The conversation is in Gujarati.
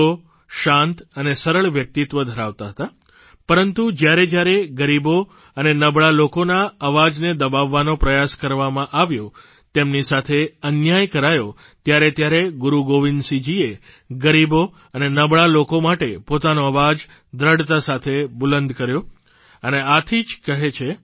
તેઓ શાંત અને સરળ વ્યક્તિત્વ ધરાવતા હતા પરંતુ જ્યારેજ્યારે ગરીબો અને નબળા લોકોના અવાજને દબાવવાનો પ્રયાસ કરવામાં આવ્યો તેમની સાથે અન્યાય કરાયો ત્યારે ત્યારે ગુરૂ ગોવિંદસિંહજીએ ગરીબો અને નબળા લોકો માટે પોતાનો અવાજ દ્રઢતા સાથે બુલંદ કર્યો અને આથી જ કહે છે